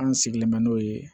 An sigilen bɛ n'o ye